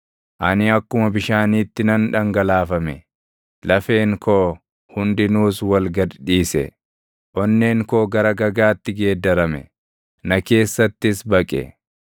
Ani akkuma bishaaniitti nan dhangalaafame; lafeen koo hundinuus wal gad dhiise. Onneen koo gara gagaatti geeddarame; na keessattis baqe.